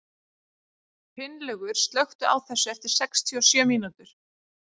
Finnlaugur, slökktu á þessu eftir sextíu og sjö mínútur.